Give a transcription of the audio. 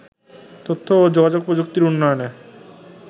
তথ্য ও যোগাযোগ প্রযুক্তির উন্নয়নে